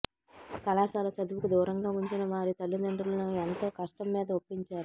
కళాశాల చదువుకు దూరంగా ఉంచిన వారి తల్లిదండ్రులను ఎంతో కష్టంమీద ఒప్పించారు